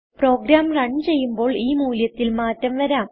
programme run ചെയ്യുമ്പോൾ ഈ മൂല്യത്തിൽ മാറ്റം വരാം